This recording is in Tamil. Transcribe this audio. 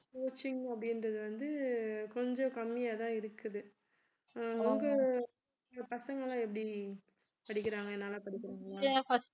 coaching அப்படின்றது வந்து கொஞ்சம் கம்மியாதான் இருக்குது உங்க பசங்கெல்லாம் எப்படி படிக்கறாங்க நல்ல படிக்கிறாங்களா